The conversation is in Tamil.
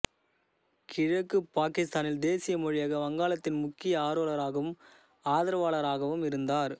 கிழக்கு பாக்கித்தானின் தேசிய மொழியாக வங்காளத்தின் முக்கிய ஆர்வலராகவும் ஆதரவாளராகவும் இருந்தார்